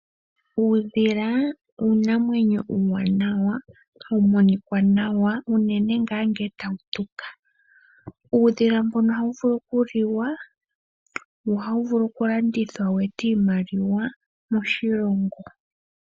Uudhila uunamwenyo uuwanawa ha wu monika nawa unene ngaa ngele ta wu tuka, uudhila mbono oha wu vulu oku liwa wo oha wu vulu kulandathwa weete iimaliwa moshilongo.